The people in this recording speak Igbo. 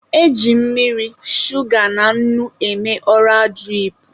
E ji mmiri, shuga na nnu eme ọra dirip.